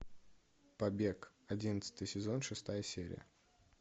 побег одиннадцатый сезон шестая серия